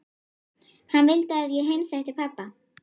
Hann vildi að ég heimsækti pabba.